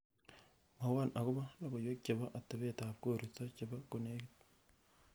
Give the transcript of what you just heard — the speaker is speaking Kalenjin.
mwowon agopo logoiwek chepo atebet ab koristo chepo konegit